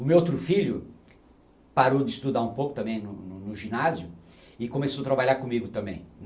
O meu outro filho parou de estudar um pouco também no no no ginásio e começou a trabalhar comigo também.